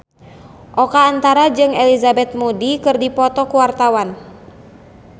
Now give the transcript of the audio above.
Oka Antara jeung Elizabeth Moody keur dipoto ku wartawan